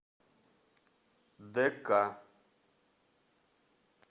дк